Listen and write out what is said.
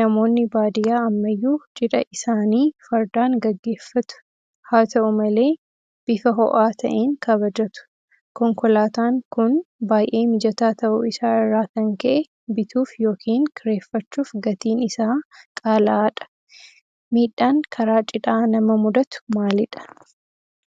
Namoonni baadiyyaa ammayyuu Cidha isaanii Fardaan gaggeeffatu. Haata'u malee bifa ho'aa ta'een kabajatu. Konkolaataan kun baay'ee mijataa ta'uu isaa irraa kan ka'e bituuf yookiin kireeffachuuf gatiin isaa qaala'aadha. Miidhaan karaa Cidhaa nama mudatu maalidha?